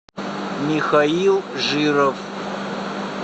михаил жиров